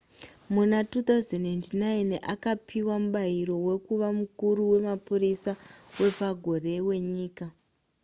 muna 2009 akapiwa mubayiro wekuva mukuru wemapurisa wepagore wenyika